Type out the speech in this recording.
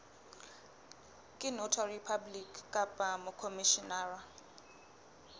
ke notary public kapa mokhomishenara